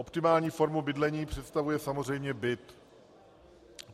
Optimální formu bydlení představuje samozřejmě byt.